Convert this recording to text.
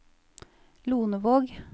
Lonevåg